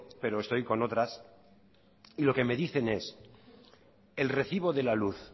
pero estoy con otras y lo que me dicen es el recibo de la luz